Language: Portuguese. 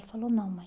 Ele falou, não, mãe.